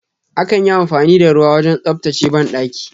Akan yi amfani da ruwa wajen tsabtace banɗaki.